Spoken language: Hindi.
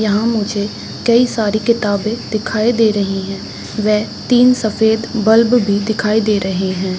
यहाँ मुझे कई सारी किताबें दिखाई दे रही हैं वे तीन सफ़ेद बल्ब भी दिखाई दे रहे हैं।